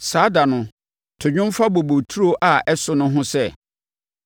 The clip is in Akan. Saa da no, “To dwom fa bobeturo a ɛso no ho sɛ: